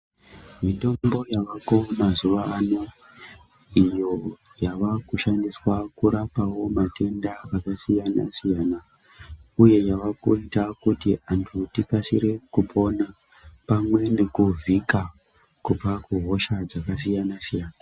Mitombo yavako mazuwa ano iyo yave kushandiswa kurapawo matenda akasiyana-siyana uye yavekuita kuti antu tikasire kuponapamwe nekuvhika kubva kuhosha dzakasiyana-siyana